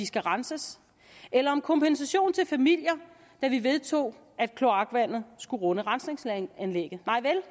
skal renses eller om kompensation til familier da vi vedtog at kloakvandet skulle runde rensningsanlægget nej vel